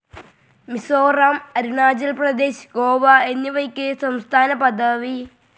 മിസോറാം, അരുണാചൽ പ്രദേശ്, ഗോവ എന്നിവയ്ക്ക് സംസ്ഥാനപദവി.